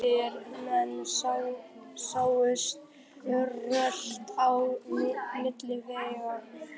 Rotaðir menn sáust rölta á milli veggja.